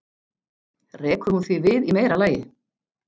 Rekur hún því við í meira lagi.